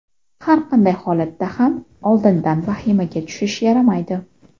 Har qanday holatda ham oldindan vahimaga tushish yaramaydi.